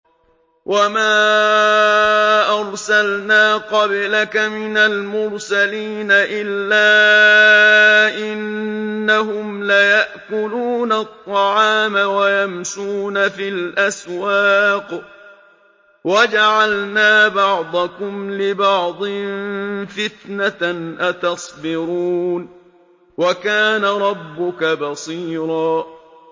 وَمَا أَرْسَلْنَا قَبْلَكَ مِنَ الْمُرْسَلِينَ إِلَّا إِنَّهُمْ لَيَأْكُلُونَ الطَّعَامَ وَيَمْشُونَ فِي الْأَسْوَاقِ ۗ وَجَعَلْنَا بَعْضَكُمْ لِبَعْضٍ فِتْنَةً أَتَصْبِرُونَ ۗ وَكَانَ رَبُّكَ بَصِيرًا